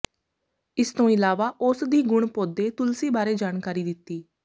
ਇਸ ਤੋਂ ਇਲਾਵਾ ਔਸਧੀ ਗੁਣ ਪੌਦੇ ਤੁਲਸੀ ਬਾਰੇ ਜਾਣਕਾਰੀ ਦਿੱਤੀ